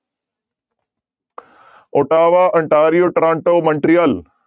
Ottawa, Ontario, Toronto, Montreal